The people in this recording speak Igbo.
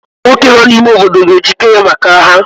Ụmụ nwoke nọ n'ime obodo ga-ejikere maka agha.